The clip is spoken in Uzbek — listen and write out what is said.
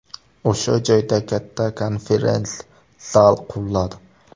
O‘sha joyda katta konferens-zal quriladi.